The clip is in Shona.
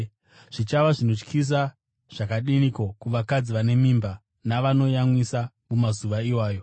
Zvichava zvinotyisa zvakadiniko kuvakadzi vane mimba navanoyamwiswa mumazuva iwayo!